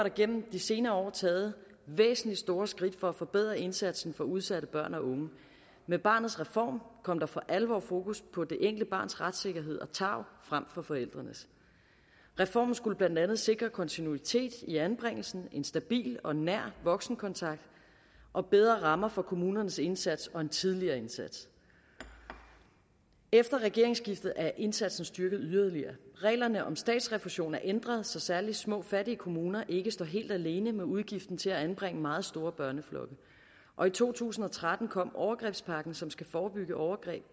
igennem de senere år taget væsentlige og store skridt for at forbedre indsatsen for udsatte børn og unge med barnets reform kom der for alvor fokus på det enkelte barns retssikkerhed og tarv frem for forældrenes reformen skulle blandt andet sikre kontinuitet i anbringelsen en stabil og nær voksenkontakt og bedre rammer for kommunernes indsats og en tidligere indsats efter regeringsskiftet er indsatsen styrket yderligere reglerne om statsrefusion er ændret så særlig små og fattige kommuner ikke står helt alene med udgiften til at anbringe meget store børneflokke og i to tusind og tretten kom overgrebspakken som skal forebygge overgreb